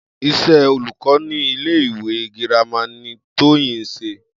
Is̩é̩ olùkó ní ilé ìwé girama ni Tóyìn ń s̩e